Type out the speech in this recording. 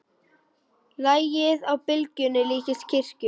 Lagið á byrginu líkist kirkju.